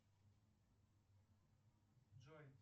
джой